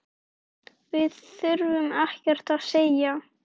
Við þurftum ekkert að segja.